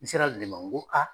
N sera le ma n ko a